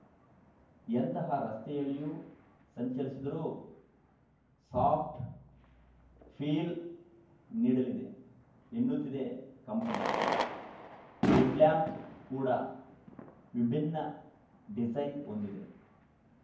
ಎಂತಹ ರಸ್ತೆಯಲ್ಲಿಯೂ ಸಂಚರಿಸಿದರೂ ಸಾಫ್ಟ್‌ ಫೀಲ್‌ ನೀಡಲಿದೆ ಎನ್ನುತ್ತಿದೆ ಕಂಪನಿ ಹೆಡ್‌ ಲ್ಯಾಂಪ್‌ ಕೂಡ ವಿಭಿನ್ನ ಡಿಸೈನ್‌ ಹೊಂದಿದೆ